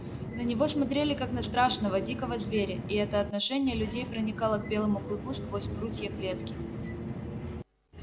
на него смотрели как на страшного дикого зверя и это отношение людей проникало к белому клыку сквозь прутья клетки